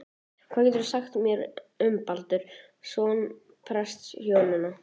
Hvað geturðu sagt mér um Baldur, son prestshjónanna?